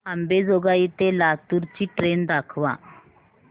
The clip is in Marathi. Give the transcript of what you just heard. अंबेजोगाई ते लातूर ची ट्रेन दाखवा